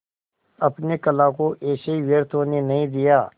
अपने कला को ऐसे ही व्यर्थ होने नहीं दिया